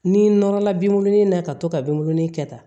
Ni nɔrɔla benw ni na ka to ka binw nili kɛ ta